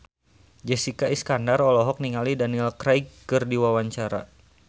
Jessica Iskandar olohok ningali Daniel Craig keur diwawancara